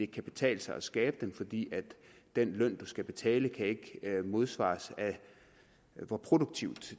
kan betale sig skabe dem fordi den løn skal betale ikke kan modsvares af hvor produktivt